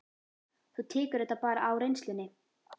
Þú tekur þetta bara á reynslunni?